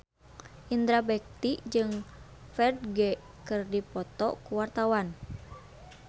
Indra Bekti jeung Ferdge keur dipoto ku wartawan